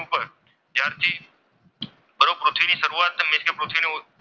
એટલે કે પૃથ્વીની શરૂઆતની એટલે કે પૃથ્વીનું,